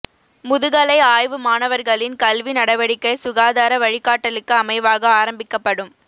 முதுகலை ஆய்வு மாணவர்களின் கல்வி நடவடிக்கை சுகாதார வழிகாட்டலுக்கு அமைவாக ஆரம்பிக்கப்படும்